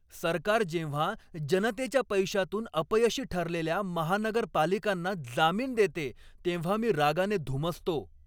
सरकार जेव्हा जनतेच्या पैशातून अपयशी ठरलेल्या महानगरपालिकांना जामीन देते तेव्हा मी रागाने धुमसतो.